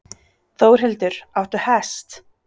Þórhildur: Áttu hest?